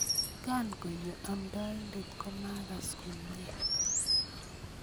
kangonyo amtaindet komakas komnye